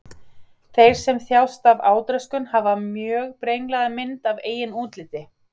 Þeir sem þjást af átröskun hafa mjög brenglaða mynd af eigin útliti.